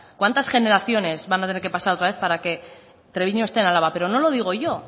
cuántas generaciones van a tener que pasar otra vez para que treviño esté en álava pero no lo digo yo